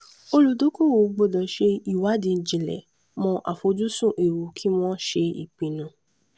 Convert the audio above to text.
olùdókòwò gbọ́dò ṣe ìwádìí jinlẹ̀ mọ àfojúsùn ewu kí wọ́n ṣe ìpinnu.